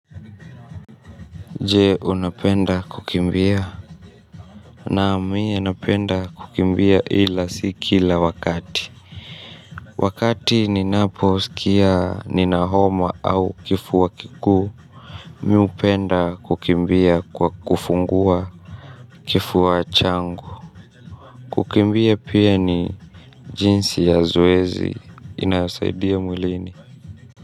Je unapenda kukimbia naam mie napenda kukimbia ila si kila wakati wakati ninapo sikia nina homa au kifua kikuu mi upenda kukimbia kwa kufungua kifua changu kukimbia pia ni jinsi ya zoezi inayosaidia mwilini.